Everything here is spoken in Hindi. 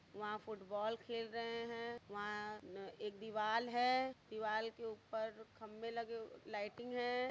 वहाँ फुटबॉल खेल रहे हैं वहाँ एक दिवाल है दिवाल के ऊपर खम्बे लगे हुए लाइटिंग है।